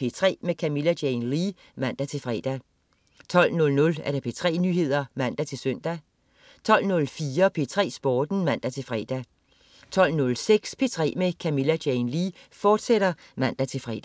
P3 med Camilla Jane Lea (man-fre) 12.00 P3 Nyheder (man-søn) 12.04 P3 Sporten (man-fre) 12.06 P3 med Camilla Jane Lea, fortsat (man-fre)